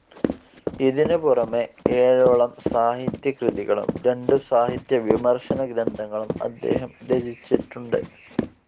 ഇതിനു പുറമെ ഏഴോളം സാഹിത്യ ക്ര്യതികളും രണ്ടു സാഹിത്യ വിമർശന ഗ്രന്ഥങ്ങളും അദ്ദേഹം രചിച്ചിട്ടുണ്ട്.